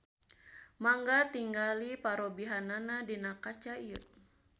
Mangga tingali parobihanna dina kaca ieu.